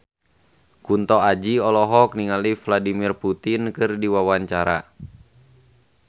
Kunto Aji olohok ningali Vladimir Putin keur diwawancara